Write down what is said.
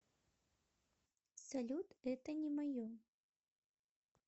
салют это не мое